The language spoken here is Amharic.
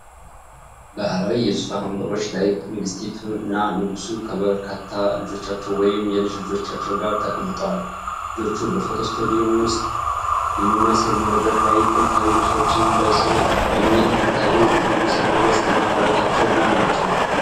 ባህላዊ የዙፋን ወንበሮች ላይ ንግስቲቱ እና ንጉሱ ከበርካታ ልጆቻቸው ወይም የልጅ ልጆቻቸው ጋር ተቀምጠዋል። ልጆቹ በፎቶ ስቱዲዮ ውስጥ በሚመስል መድረክ ላይ ጥንታዊ ልብሶችን ለብሰዋል። የሚታየው ንጉሠ ነገሥት እና ባለቤታቸው ማን ናቸው?